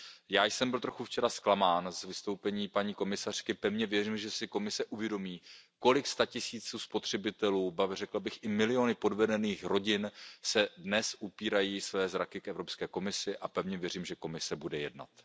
Já jsem byl včera trochu zklamán z vystoupení paní komisařky, pevně věřím, že si Komise uvědomí, kolik statisíců spotřebitelů, řekl bych i miliony podvedených rodin, dnes upírají své zraky k EK a pevně věřím, že Komise bude jednat.